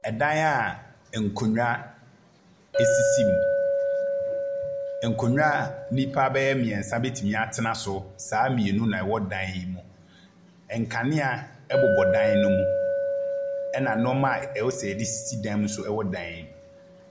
Ɛdan a nkunnwa sisi mu. Nkunnwa a nnipa mmienu betumi atena so saa mmienu naɛwɔ dan yi mu. Nkanea wɔ dan no mu, na nneɛma a ɛsɛ sɛ yɛde sisi dan mu bi nso wɔ dan no mu.